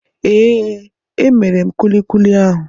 Ee, E mere m kulikuli ahụ.